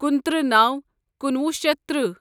کُنتٕرہ نوَ کُنوُہ شیتھ تٕرٛہہ